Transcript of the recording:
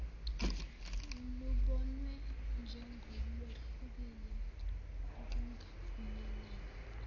lubonwe njengolwehlukile ukungavumelani